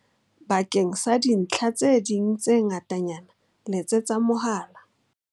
Bakeng sa dintlha tse ding tse ngatanyana letsetsa mohala.